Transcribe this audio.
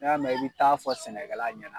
N'i y'a mɛ i bi taa fɔ sɛnɛkɛla ɲɛna